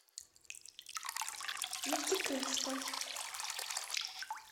нефтекумска